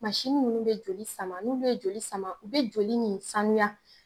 Masini nunnu be joli sama n'u be joli sama u be joli nin sanuya